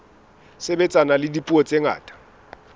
sebetsana le dipuo tse ngata